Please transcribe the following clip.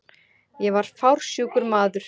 Ég var fársjúkur maður.